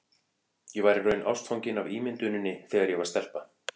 Ég var í raun ástfangin af ímynduninni þegar ég var stelpa.